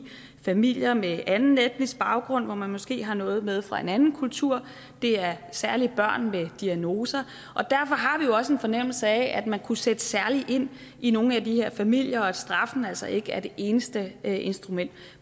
familier med anden etnisk baggrund hvor man måske har noget med fra en anden kultur og det er særlig børn med diagnoser derfor har vi også en fornemmelse af at man kunne sætte særligt ind i nogle af de her familier og at straf altså ikke er det eneste instrument